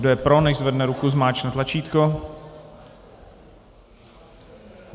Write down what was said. Kdo je pro, nechť zvedne ruku a zmáčkne tlačítko.